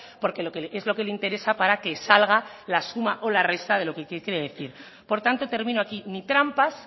porque es lo que le interesa para que salga la suma o la resta de lo que quiere decir por tanto termino aquí ni trampas